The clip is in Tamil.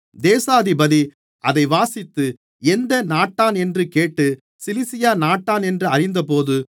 தேசாதிபதி அதை வாசித்து எந்த நாட்டானென்று கேட்டு சிலிசியா நாட்டானென்று அறிந்தபோது